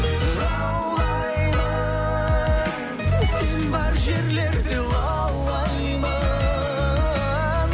лаулаймын сен бар жерлерде лаулаймын